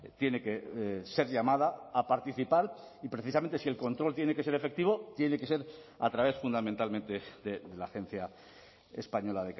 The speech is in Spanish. tiene que ser llamada a participar y precisamente si el control tiene que ser efectivo tiene que ser a través fundamentalmente de la agencia española